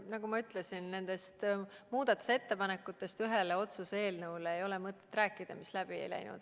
Nagu ma ütlesin, ei ole mõtet rääkida muudatusettepanekutest ühe otsuse eelnõu kohta, mis läbi ei läinud.